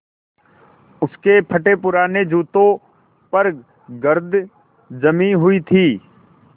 उसके फटेपुराने जूतों पर गर्द जमी हुई थी